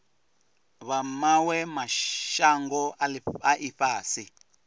vha mawe mashango a ifhasi